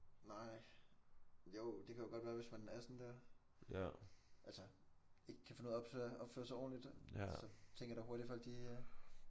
Nej. Jo det kan jo godt være hvis man er sådan der. Altså ikke kan finde ud af at opføre sig ordentlig så tænker jeg da hurtigt folk de øh